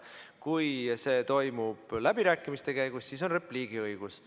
Kui see toimub läbirääkimiste käigus, siis on repliigi õigus.